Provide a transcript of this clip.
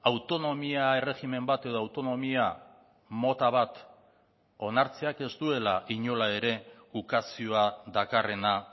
autonomia erregimen bat edo autonomia mota bat onartzeak ez duela inola ere ukazioa dakarrena